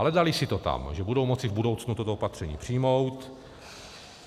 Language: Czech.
Ale daly si to tam, že budou moci v budoucnu toto opatření přijmout.